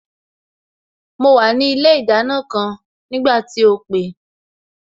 Mo wà ní ilé ìdáná kan nígbà tí o pè